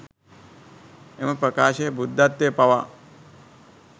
එම ප්‍රකාශය බුද්ධත්වය පවා